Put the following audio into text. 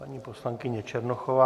Paní poslankyně Černochová.